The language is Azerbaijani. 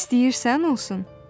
İstəyirsən olsun?